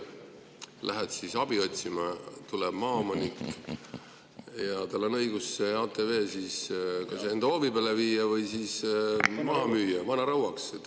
Sa lähed siis abi otsima, aga vahepeal tuleb maaomanik ja tal on õigus see ATV enda hoovi peale viia või siis maha müüa vanarauaks.